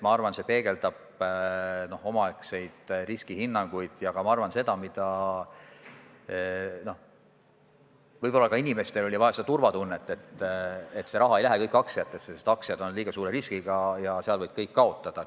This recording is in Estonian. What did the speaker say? Ma arvan, et see peegeldab omaaegseid riskihinnanguid, ja võib-olla oli inimestel vaja ka turvatunnet, et see raha ei lähe kõik aktsiatesse, sest aktsiad on liiga suure riskiga ja nende kaudu võib kõik kaotada.